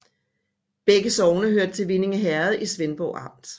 Begge sogne hørte til Vindinge Herred i Svendborg Amt